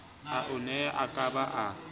ao aneng a ka ba